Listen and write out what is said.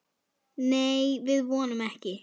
Nei, við vonum ekki.